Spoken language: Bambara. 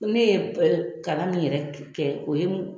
Ne ye kalan min yɛrɛ kɛ, o ye